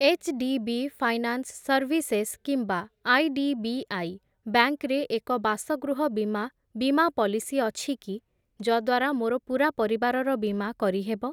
HDB finance services କିମ୍ବା IDBI bank ରେ ଏକ ବାସଗୃହ ବୀମା ବୀମା ପଲିସି ଅଛିକି, ଯଦ୍ଵାରା ମୋର ପୂରା ପରିବାରର ବୀମା କରିହେବ?